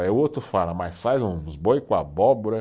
Aí o outro fala, mas faz uns boi com abóbora.